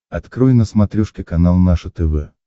открой на смотрешке канал наше тв